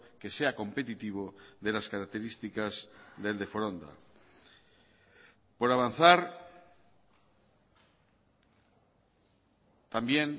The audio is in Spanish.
que sea competitivo de las características del de foronda por avanzar también